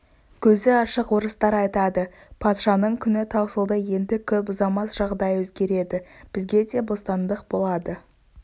көзі ашық орыстар айтады патшаның күні таусылды енді көп ұзамас жағдай өзгереді бізге де бостандық болады